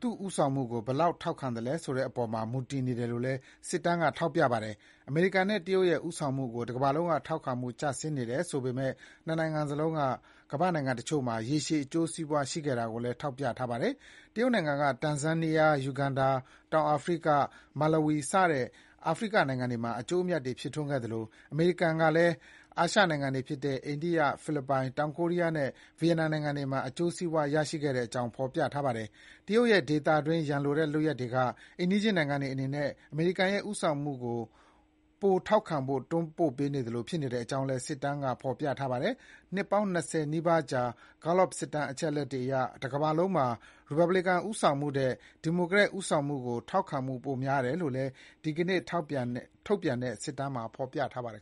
သူ့ဦးဆောင်မှုကို ဘယ်လောက်ထောက်ခံသလဲဆိုတဲ့ အပေါ်မှာမူတည်နေတယ်လို့လည်း စစ်တမ်းကထောက်ပြပါတယ်။ အမေရိကန်နဲ့ တရုတ်ရဲ့ ဦးဆောင်မှုကို တကမ္ဘာလုံးက ထောက်ခံမှုကျဆင်းနေတယ်ဆိုပေမဲ့ နှစ်နိုင်ငံလုံးက ကမ္ဘာ့နိုင်ငံတချို့မှာ ရေရှည်အကျိုးစီးပွါးရှိခဲ့တာကိုလည်း ထောက်ပြထားပါတယ်။ တရုတ်နိုင်ငံက တန်ဇန်းနီးယား၊ ယူဂန်ဒါ၊ တောင်အာဖရိက၊ မာလဝီစတဲ့ အာဖရိကနိုင်ငံတွေမှာ အကျိုးအမြတ်တွေဖြစ်ထွန်းခဲ့သလို အမေရိကန်ကလည်းအာရှနိုင်ငံတွေဖြစ်တဲ့ အိန္ဒိယ၊ ဖိလစ်ပိုင်၊ တောင်ကိုရီးယားနဲ့ဗီယက်နမ်နိုင်ငံတွေမှာ အကျိုးစီးပွါးရခဲ့တဲ့အကြောင်း ဖော်ပြထားတာပါ။ တရုတ်ရဲ့ ဒေသတွင်းရန်လိုတဲ့ လုပ်ရပ်တွေက အိမ်နီးချင်းနိုင်ငံတွေအနေနဲ့ အမေရိကန်ရဲ့ ဦးဆောင်မှုကို ပိုထောက်ခံဖို့ တွန်းပို့နေသလိုဖြစ်နေတဲ့အကြောင်းလည်း စစ်တမ်းကဖော်ပြပါတယ်။ နှစ်ပေါင်း ၂၀ နီးပါးကြာ Gallup စစ်တမ်း အချက်အလက်တွေအရ တကမ္ဘာလုံးမှာ ရီပတ်ဗလစ်ကန် ဦးဆောင်မှုထက် ဒီမိုကရက်တစ် ဦးဆောင်မှုကို ထောက်ခံမှုပိုများတယ်လို့လည်း ဒီကနေ့ ထုတ်ပြန်တဲ့ စစ်တမ်းမှာဖော်ပြထားပါတယ်